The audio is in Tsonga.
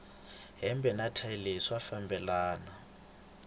hembe na thayi leyi swa fambelana